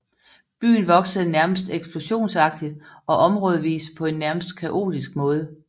Byen voksede nærmest eksplosionsagtigt og områdevis på en nærmest kaotisk måde